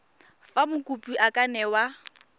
fa mokopi a ka newa